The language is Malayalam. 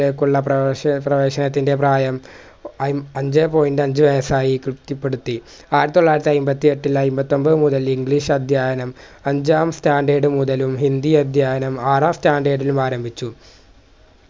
ലേക്കുള്ള പ്രവേശ പ്രേവശനത്തിൻറെ പ്രായം അയ് അഞ്ചേ point അഞ്ച് വയസ്സായി തൃപ്തിപ്പെടുത്തി ആയിതൊള്ളായിരത്തി അയിമ്പത്തിയെട്ടിൽ അയിമ്പത്തൊമ്പത് മുതൽ english അധ്യയനം അഞ്ചാം standard മുതലും ഹിന്ദി അധ്യയനം ആറാം standard ലും ആരംഭിച്ചു